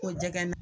Ko jɛgɛ